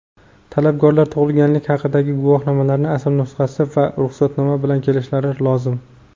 Talabgorlar tug‘ilganlik haqidagi guvohnomaning asl nusxasi va ruxsatnoma bilan kelishlari lozim.